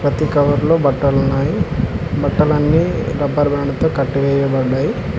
ప్రతి కవర్లో బట్టలున్నాయి బట్టలన్నీ రబ్బర్ బ్యాండ్ తో కట్టివేయబడ్డాయి.